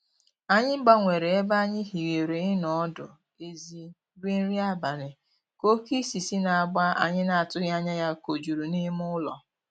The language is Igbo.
Anyị gbanwere ebe anyị hiwere ịnọ ọdụ ezi rie nri abalị, ka oke isì si n'agba anyị na-atụghị anya ya kojuru n'ime ụlọ.